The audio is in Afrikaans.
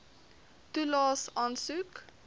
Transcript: toelaes aansoek